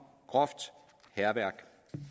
groft hærværk